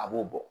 A b'o bɔ